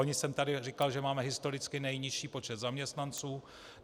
Loni jsem tady říkal, že máme historicky nejnižší počet zaměstnanců.